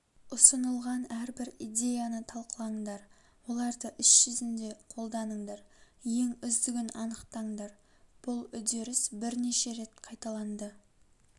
ұсынылған әрбір идеяны талқылаңдар оларды іс жүзінде қолданыңдар ең үздігін анықтаңдар бұл үдеріс бірнеше рет қайталанды